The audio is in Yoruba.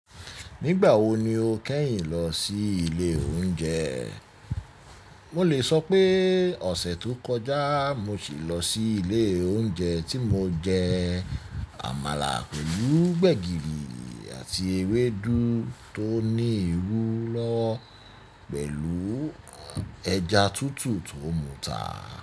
Nígbà wo ni o kẹ́yìn lọ sí ilé oúnjẹ? Mo lè sọ pé ọ̀sẹ̀ tó kọjá mo sì lọ sí ilé oúnjẹ tí mo jẹ àmàlà pẹ̀lú gbẹ̀gìrì àti ewédú tó ní irú lọwo pẹ̀lú ẹja tútù tó muta.